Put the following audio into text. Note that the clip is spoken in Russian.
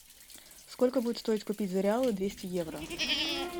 сколько будет стоить купить за реалы двести евро